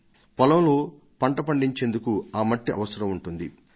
ఈసారి మనం చెరువులోంచి మట్టిని తవ్వి పండించేందుకు ఆ మట్టి అవసరం ఉంటుంది